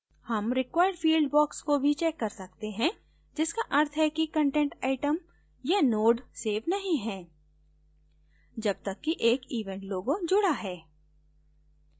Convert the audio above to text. हम required field box को भी check कर सकते हैं जिसका अर्थ है कि content item या node check नहीं है जब तक कि एक event logo जुड़ा है